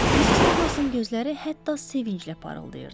Missis Duqlasın gözləri hətta sevinclə parıldayırdı.